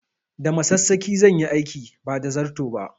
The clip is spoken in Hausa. Da masassaƙi zan yi aikin ba da zarto ba